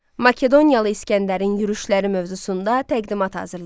Makedoniyalı İsgəndərin yürüşləri mövzusunda təqdimat hazırlayın.